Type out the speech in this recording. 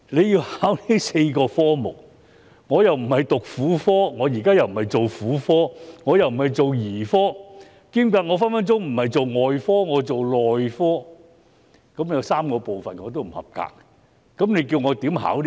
要考這4科，若我既不是讀婦科，現在又不是做婦科、兒科或外科，我只是做內科，我便會有3個科目不及格，試問我如何通過考試呢？